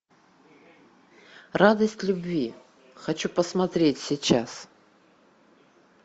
радость любви хочу посмотреть сейчас